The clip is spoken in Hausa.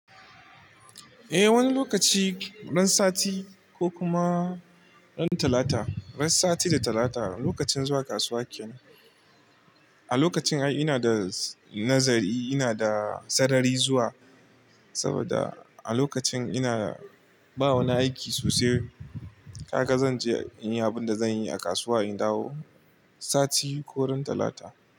Eh, wani lokaci ran sati ko kuma ran Talata, ran sati da Talata lokacin zuwa kasuwa kenan. A lokacin ai ina da nazari, ina da sarari zuwa saboda a lokacin ina ba wani aiki sosai. Haka zan je in yi abin da zan yi a kasuwa in dawo, sati ko ran Talata.